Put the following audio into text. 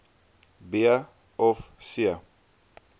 b of c